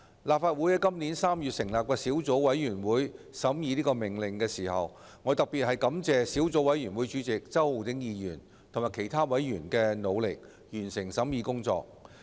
立法會在今年3月成立小組委員會審議《命令》，我特別感謝小組委員會主席周浩鼎議員及其他委員，努力完成審議工作。